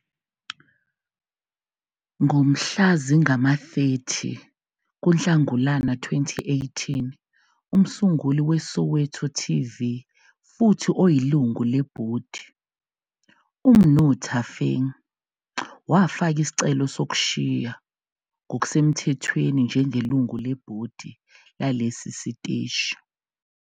Ngomhla zingama-30 kuNhlangulana 2018 umsunguli weSoweto TV futhi oyilungu lebhodi, uMnu Thafeng, wafaka isicelo sokushiya ngokusemthethweni njengelungu lebhodi lalesi siteshi.